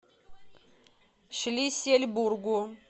шлиссельбургу